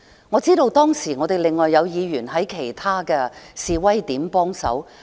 我知道當時我們另外有議員在其他示威地點幫忙。